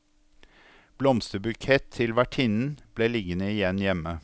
Blomsterbukett til vertinnen ble liggende igjen hjemme.